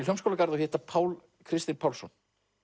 Hljómskálagarð og hitta Pál Kristin Pálsson